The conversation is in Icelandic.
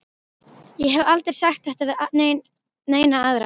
Ég hef aldrei sagt þetta við neina aðra.